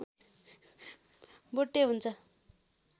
बुट्टे हुन्छ